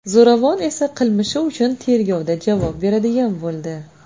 Zo‘ravon esa qilmishi uchun tergovda javob beradigan bo‘ldi.